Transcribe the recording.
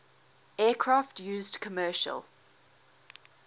aircraft used commercial